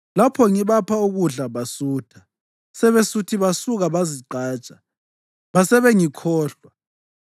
Lapho ngibapha ukudla, basutha; sebesuthi, basuka bazigqaja; basebengikhohlwa.